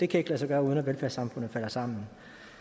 kan lade sig gøre uden at velfærdssamfundet falder sammen